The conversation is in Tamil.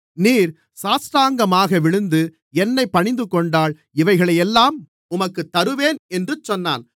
நீர் சாஷ்டாங்கமாக விழுந்து என்னைப் பணிந்துகொண்டால் இவைகளையெல்லாம் உமக்குத் தருவேன் என்று சொன்னான்